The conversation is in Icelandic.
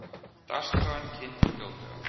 Dagskráin kynnt fljótlega